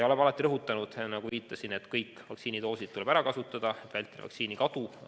Oleme alati rõhutanud, nagu viitasin, et kõik vaktsiinidoosid tuleb ära kasutada, vältimaks vaktsiini kadu.